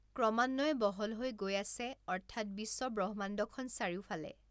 ক্ৰমান্বয়ে বহল হৈ গৈ আছে অৰ্থাৎ বিশ্ব ব্ৰহ্মাণ্ডখন চাৰিওফালে